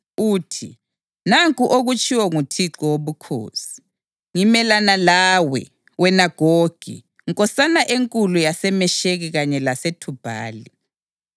uthi: ‘Nanku okutshiwo nguThixo Wobukhosi: Ngimelana lawe, wena Gogi, nkosana enkulu yaseMesheki kanye laseThubhali.